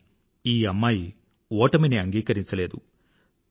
కానీ ఈ అమ్మాయి ఓటమిని అంగీకరించలేదు